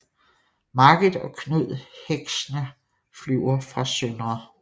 Margit og Knud Heckscher flyver fra Sdr